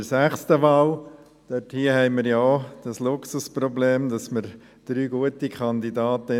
Bei der sechsten Wahl haben wir ja auch ein Luxusproblem: Wir haben drei gute Kandidatinnen.